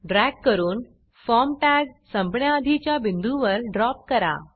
drag करून form tag संपण्याआधीच्या बिंदूवर ड्रॉप करा